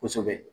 Kosɛbɛ